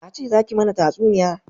Na ce za ki mana tatsuniya